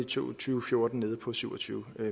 tusind og fjorten nede på syv og tyve